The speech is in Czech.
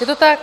Je to tak.